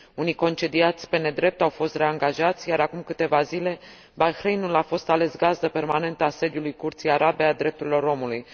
Unii dintre cei concediați pe nedrept au fost reangajați, iar, acum câteva zile, Bahrainul a fost ales gazdă permanentă a sediului Curții Arabe a Drepturilor Omului.